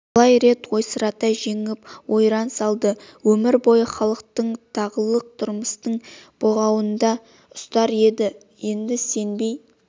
талай рет ойсырата жеңіп ойран салды өмір бойы халықты тағылық тұрмыстың бұғауында ұстар еді енді сенбей